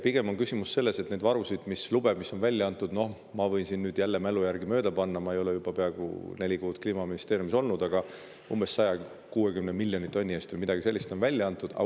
Pigem on küsimus selles, et neid varusid, mille jaoks lube on välja antud – ma võin jälle mälu järgi öeldes mööda panna, ma ei ole juba peaaegu neli kuud Kliimaministeeriumis olnud –, on umbes 160 miljoni tonni või midagi sellist, niisuguse on neid lube välja antud.